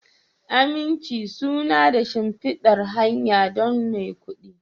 Aminci suna da shimfidar hanya don maikudi